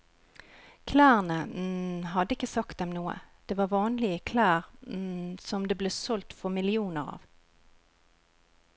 Klærne hadde ikke sagt dem noe, det var vanlige klær som det ble solgt for millioner av.